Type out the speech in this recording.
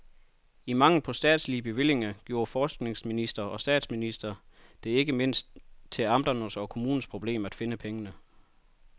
I mangel på statslige bevillinger gjorde forskningsminister og statsminister det ikke mindst til amternes og kommunernes problem at finde pengene.